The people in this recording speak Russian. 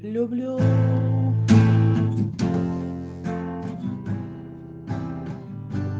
люблю